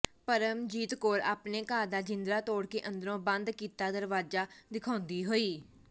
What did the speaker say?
ਪਰਮਜੀਤ ਕੌਰ ਆਪਣੇ ਘਰ ਦਾ ਜਿੰਦਰਾ ਤੋੜ ਕੇ ਅੰਦਰੋਂ ਬੰਦ ਕੀਤਾ ਦਰਵਾਜ਼ਾ ਦਿਖਾਉਂਦੀ ਹੋਈ